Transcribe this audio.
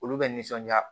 Olu bɛ nisɔndiya